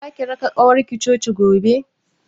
Zaki raka ƙawarki coci gobe?